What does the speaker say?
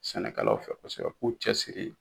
Sɛnɛkɛlaw fɛ kosɛbɛ, u k'u cɛ siri.